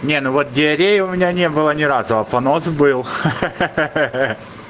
ну вот диареи у меня не было ни разу а понос был ха ха ха